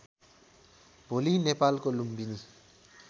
भोलि नेपालको लुम्बिनी